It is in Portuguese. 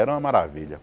Era uma maravilha.